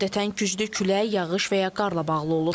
Adətən güclü külək, yağış və ya qar ilə bağlı olur.